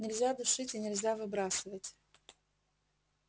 нельзя душить и нельзя выбрасывать